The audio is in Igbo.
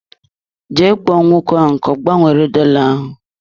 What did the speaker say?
Jee kpọọ nwoke ahụ ka ọ gbanwere dola ahụ.